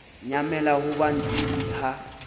nyamela ho ba ntidi ha